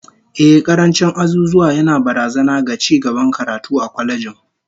Ehh, karancin azuzuwa yana barazana ga cigaban karatu a kwalejin